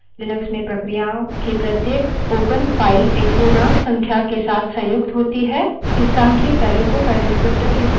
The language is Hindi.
इस सांख्यिक values को file डिस्क्रीप्टर विवरणक के रूप में जाना जाता है